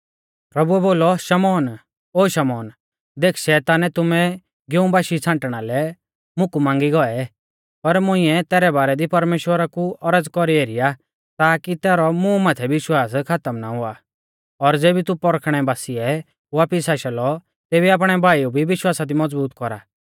पर मुंइऐ तैरै बारै दी परमेश्‍वरा कु औरज़ कौरी एरी आ ताकी तैरौ मुं माथै विश्वास खातम ना हुआ और ज़ेबी तू पौरखणै बासिऐ वापिस आशा लौ तेबी आपणै भाईऊ भी विश्वासा दी मज़बूत कौरा